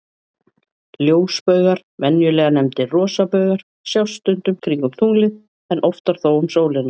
Ljósbaugar, venjulega nefndir rosabaugar, sjást stundum kringum tunglið, en oftar þó um sólina.